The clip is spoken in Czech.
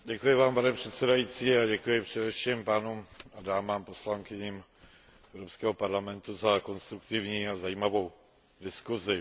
Děkuji vám, pane předsedající, a děkuji především poslancům a poslankyním Evropského parlamentu za konstruktivní a zajímavou diskusi.